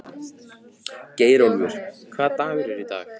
Geirólfur, hvaða dagur er í dag?